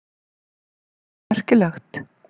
Eitthvað merkilegt?